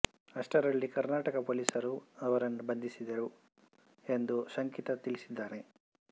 ಅಷ್ಟರಲ್ಲಿ ಕರ್ನಾಟಕ ಪೊಲೀಸರು ಅವರನ್ನು ಬಂಧಿಸಿದರು ಎಂದು ಶಂಕಿತ ತಿಳಿಸಿದ್ದಾನೆ